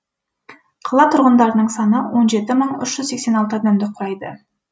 қала тұрғындарының саны адамды құрайды